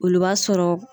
Olu b'a sɔrɔ